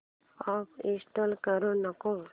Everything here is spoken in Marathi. अॅप इंस्टॉल करू नको